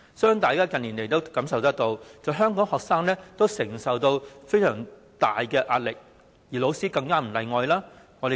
相信大家近年也覺察到，香港學生要承受相當大的壓力，老師亦不例外。